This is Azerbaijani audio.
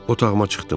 Otağıma çıxdım.